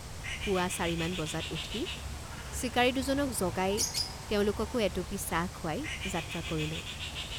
পুৱা চাৰি বজাত উঠি চিকাৰী দুজনক জগাই তেওঁলোককো এটুপি চাহ খুৱাই যাত্ৰা কৰিলোঁ।